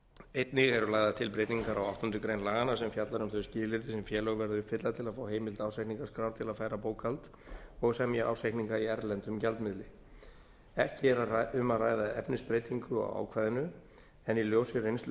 einnig eru lagðar til breytingar á áttundu grein laganna sem fjallar um þau skilyrði sem félög verða að uppfylla til að fá heimild ársreikningaskrár til að færa bókhald og semja ársreikninga í erlendum gjaldmiðli ekki er um að ræða efnisbreytingu á ákvæðinu en í ljósi reynslu